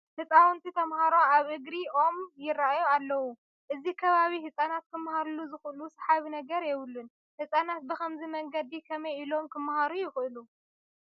ህፃውንቲ ተመሃሮ ኣብ እግሪ ኦም ይርአዩ ኣለዉ፡፡ እዚ ከባቢ ህፃናት ክመሃሩሉ ዝኽእሉ ሰሓቢ ነገር የብሉን፡፡ ህፃናት ብኸምዚ መንገዲ ከመይ ኢሎም ክመሃሩ ይኽእሉ?